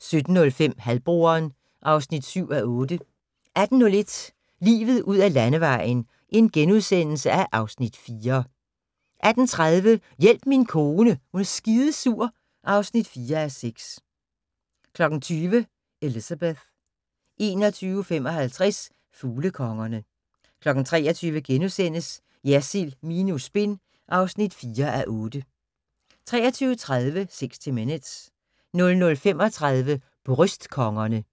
17:05: Halvbroderen (7:8) 18:01: Livet ud ad landevejen (Afs. 4)* 18:30: Hjælp min kone er skidesur (4:6) 20:00: Elizabeth 21:55: Fuglekongerne 23:00: Jersild minus spin (4:8)* 23:30: 60 Minutes 00:35: Bryst-kongerne